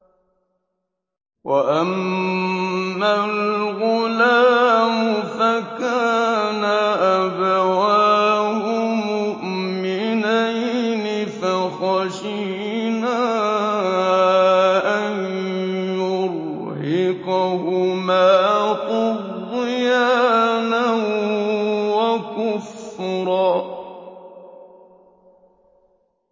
وَأَمَّا الْغُلَامُ فَكَانَ أَبَوَاهُ مُؤْمِنَيْنِ فَخَشِينَا أَن يُرْهِقَهُمَا طُغْيَانًا وَكُفْرًا